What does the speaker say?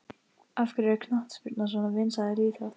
Af hverju er knattspyrna svona vinsæl íþrótt?